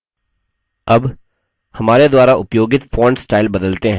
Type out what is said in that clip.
अब हमारे द्वारा उपयोगित font स्टाइल बदलते हैं